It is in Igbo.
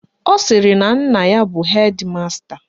Ọ sịrị na nna ya bụ hedi masta